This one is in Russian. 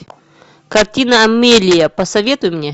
картина амелия посоветуй мне